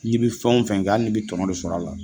Ni i bɛ fɛnw fɛn kɛ hali ni bɛ tɔɔnɔ de sɔrɔ a la.